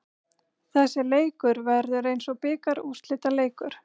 Þessi leikur verður eins og bikarúrslitaleikur.